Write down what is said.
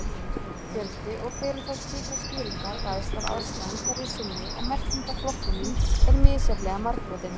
Fjöldi og fyrirferð slíkra skýringa ræðst af aðstæðum hverju sinni og merkingarflokkunin er misjafnlega margbrotin.